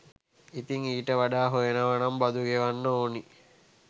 ඉතින් ඊට වඩා හොයනවනම් බදු ගෙවන්න ඕනි.